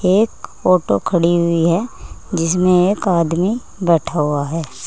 एक आटो खड़ी हुई है जिसमें एक आदमी बैठा हुआ है।